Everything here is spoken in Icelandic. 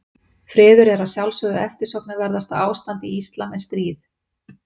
Friður er að sjálfsögðu eftirsóknarverðara ástand í íslam en stríð.